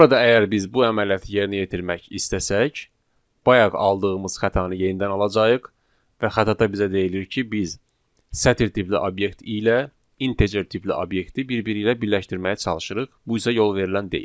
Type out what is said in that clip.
Burada əgər biz bu əməliyyatı yerinə yetirmək istəsək, bayaq aldığımız xətanı yenidən alacağıq və xətada bizə deyilir ki, biz sətr tipli obyekt ilə integer tipli obyekti bir-biri ilə birləşdirməyə çalışırıq, bu isə yol verilən deyil.